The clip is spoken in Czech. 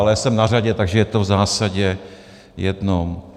Ale jsem na řadě, takže je to v zásadě jedno.